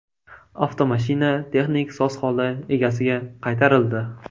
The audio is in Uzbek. Avtomashina texnik soz holda egasiga qaytarildi.